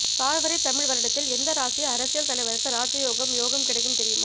சார்வரி தமிழ் வருடத்தில் எந்த ராசி அரசியல் தலைவருக்கு ராஜயோகம் யோகம் கிடைக்கும் தெரியுமா